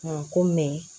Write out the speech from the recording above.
ko